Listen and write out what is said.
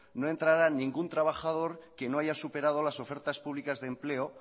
no entrará ningún trabajador que no haya superado las ofertas públicas de empleo